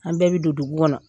An bɛɛ bɛ don dugu kɔnɔ